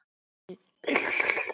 Birgir bróðir minn er látinn.